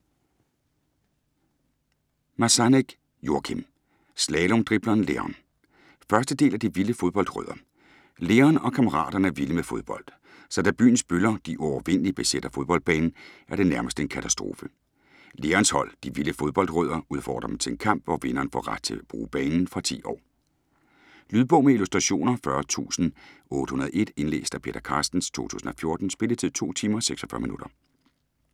Masannek, Joachim: Slalomdribleren Leon 1. del af De vilde fodboldrødder. Leon og kammeraterne er vilde med fodbold. Så da byens bøller "De uovervindelige" besætter fodboldbanen, er det nærmest en katastrofe. Leons hold "De vilde fodbold-rødder" udfordrer dem til en kamp, hvor vinderen får ret til at bruge banen. Fra 10 år. Lydbog med illustrationer 40801 Indlæst af Peter Carstens, 2014. Spilletid: 2 timer, 46 minutter.